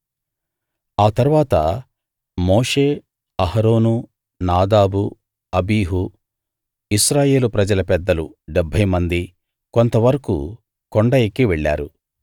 ఆ తరువాత మోషే అహరోను నాదాబు అబీహు ఇశ్రాయేలు ప్రజల పెద్దలు 70 మంది కొంతవరకూ కొండ ఎక్కి వెళ్ళారు